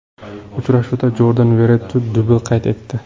Uchrashuvda Jordan Veretu dubl qayd etdi.